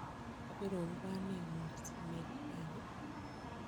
Kabirun kwaning'ung' simet rani?